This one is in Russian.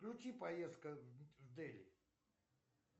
включи поездка в дели